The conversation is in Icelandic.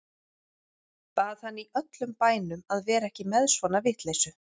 Bað hann í öllum bænum að vera ekki með svona vitleysu.